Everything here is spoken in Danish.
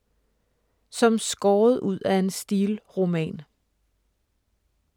Som skåret ud af en Steel-roman